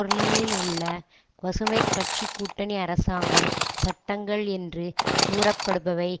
பேர்லினிலுள்ள பசுமை கட்சி கூட்டணி அரசாங்கம் சட்டங்கள் என்று கூறப்படுபவை